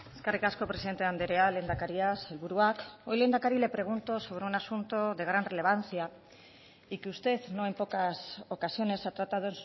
eskerrik asko presidente andrea lehendakaria sailburuak hoy lehendakari le pregunto sobre un asunto de gran relevancia y que usted no en pocas ocasiones ha tratado